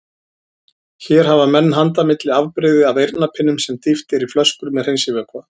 Hér hafa menn handa milli afbrigði af eyrnapinnum sem dýft er í flöskur með hreinsivökva.